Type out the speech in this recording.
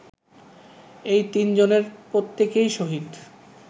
এই তিনজনের প্রত্যেকেই শহীদ